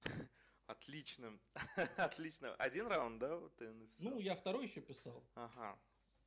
отлично ха-ха отлично один раунд да ты написал ну я второй ещё писал ага